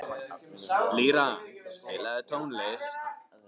Lýra, spilaðu tónlist.